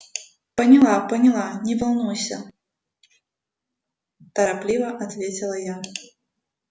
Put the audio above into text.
поняла поняла не волнуйся торопливо ответила я